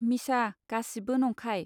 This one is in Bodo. मिसा गासिबो नंखाय.